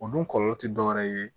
O dun kɔlɔlɔ ti dɔwɛrɛ ye